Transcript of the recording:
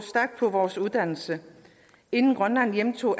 vores uddannelse inden grønland hjemtog